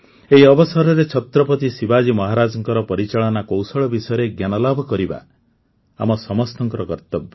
ଏହି ଅବସରରେ ଛତ୍ରପତି ଶିବାଜୀ ମହାରାଜଙ୍କ ପରିଚାଳନା କୌଶଳ ବିଷୟରେ ଜ୍ଞାନ ଲାଭ କରିବା ଆମ ସମସ୍ତଙ୍କ କର୍ତବ୍ୟ